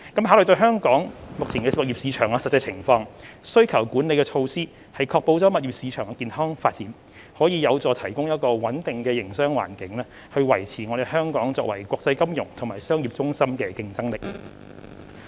考慮到香港目前的物業市場的實際情況，需求管理措施確保物業市場健康發展，可有助提供穩定的營商環境，維持香港作為國際金融和商業中心的競爭力。